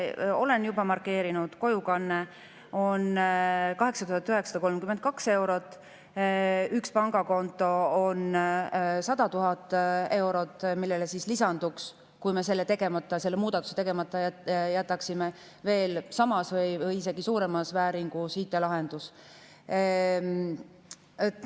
Ma olen juba markeerinud: kojukande on 8932 eurot, ühele pangakontole on 100 000 eurot, millele lisanduks, kui me selle muudatuse tegemata jätaksime, veel samas või isegi suuremas IT‑lahendus.